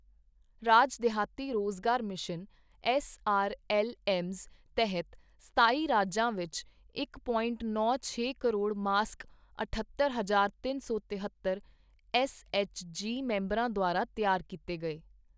ਰਾਜ ਦਿਹਾਤੀ ਰੁਜ਼ਗਾਰ mission SRLMs ਤਹਿਤ ਸਤਾਈ ਰਾਜਾਂ ਵਿੱਚ ਇੱਕ ਪੋਇੰਟ ਨੌਂ ਛੇ ਕਰੋੜ ਮਾਸਕ ਅਠੱਤਰ ਹਜਾਰ ਤਿੰਨ ਸੌ ਤਹੇਤਰ ਐੱਸਐਚਜੀ ਮੈਂਬਰਾਂ ਦੁਆਰਾ ਤਿਆਰ ਕੀਤੇ ਗਏ।